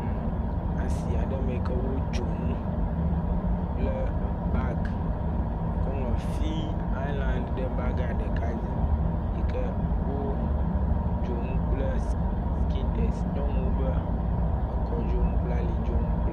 Le asi aɖe me yike wo dzonu kple bagi yike woŋlɔ fi island ɖe ɖeka dzi yike wo dzonu kple skintex. Nyɔnuwo ƒe ekɔ dzonuwo kple alo dzonu.